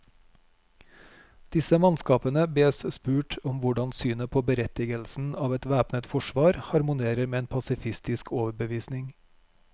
Disse mannskapene bes spurt om hvordan synet på berettigelsen av et væpnet forsvar harmonerer med en pasifistisk overbevisning.